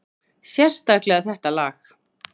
Sérstaklega þetta lag.